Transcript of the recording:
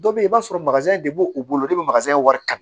Dɔ bɛ yen i b'a sɔrɔ de b'u bolo wari ta